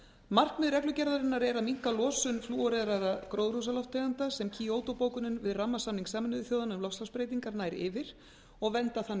markmið reglugerðarinnar er að minnka losun flúoreraðra gróðurhúsalofttegunda sem kyoto bókunin við rammasamning sameinuðu þjóðanna um loftslagsbreytingar nær yfir og vernda þannig